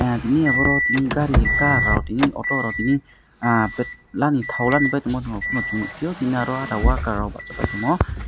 adi ni boro tini auto ro tini petla ni tini ba rok worker rok tamo.